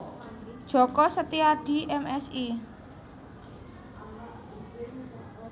Djoko Setiadi M Si